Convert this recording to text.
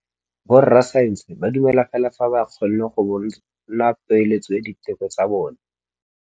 Borra saense ba dumela fela fa ba kgonne go bona poeletsô ya diteko tsa bone.